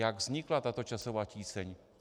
Jak vznikla tato časová tíseň?